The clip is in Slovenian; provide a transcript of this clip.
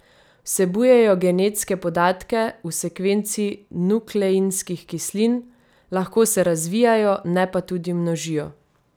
Vsebujejo genetske podatke v sekvenci nukleinskih kislin, lahko se razvijajo, ne pa tudi množijo.